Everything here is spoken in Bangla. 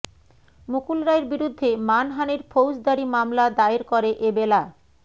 মুকুল রায়ের বিরুদ্ধে মানহানির ফৌজদারি মামলা দায়ের করে এবেলা